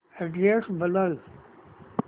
address बदल